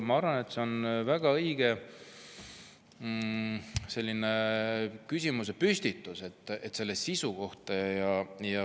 Ma arvan, et see on väga õige küsimusepüstitus selle sisu kohta.